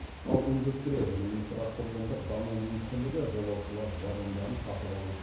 ал индустрия және инфрақұрылымдық даму министрлігі жолаушылар вагондарын сатып алу үшін